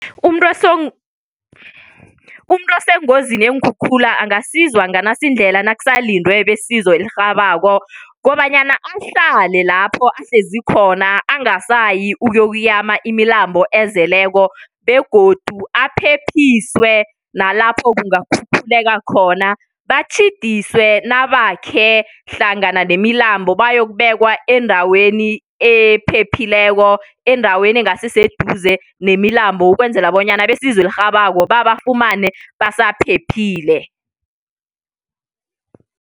Umuntu osengozini yeenkhukhula angasizwa nganasi indlela nakusalindwe besizo elirhabako kobanyana ahlale lapho ahlezi khona angasayi ukuyokuyama imilambo ezeleko begodu aphephiswe nalapho kungakhukhuleka khona batjhidiswe nabakhe hlangana nemilambo bayokubekwa endaweni ephephileko endaweni engasiseduze nemilambo ukwenzela bonyana besizo elirhabako babafumane basabaphephile.